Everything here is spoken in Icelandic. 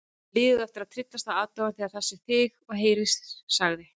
Liðið á eftir að tryllast af aðdáun þegar það sér þig og heyrir sagði